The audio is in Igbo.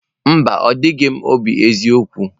Mba, o jighị m obi eziokwu.